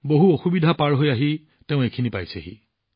বহু বাধা নেওচি তেওঁ ইয়াত উপস্থিত হৈছে